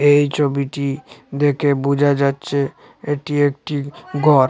এই ছবিটি দেখে বুঝা যাচ্ছে এটি একটি গর।